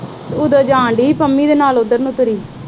ਉਧਰ ਜਾਣ ਦਈ ਸੀ, ਪੰਮੀ ਦੇ ਨਾਲ ਤੁਰੀ।